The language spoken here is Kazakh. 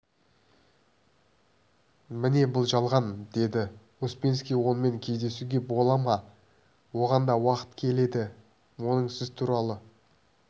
міне бұл жалған деді успенский онымен кездесуге бола ма оған да уақыт келеді оның сіз туралы